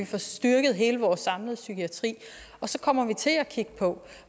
få styrket hele vores samlede psykiatri og så kommer vi til at kigge på